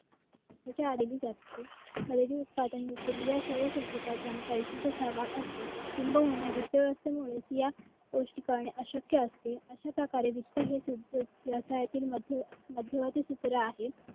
खरेदी उत्पादन व क्रिया सर्व कृती करतांना पैसीयचा सहभाग असतो. किंबहुना वित्त व्यवस्थेमुळे या गोष्टी करणे अशक्या असते. अशयाप्रकारे वित्त हे व्यवसायातील मध्य मध्यवर्ती सूत्र आहे.